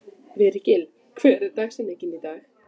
Virgill, hver er dagsetningin í dag?